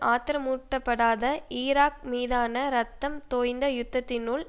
ஆத்திரமூட்டப்படாத Iraq மீதான இரத்தம் தோய்ந்த யுத்தத்தினுள்